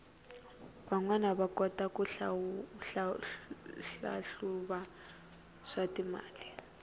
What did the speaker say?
vanwana va kota ku hlahluva swatimali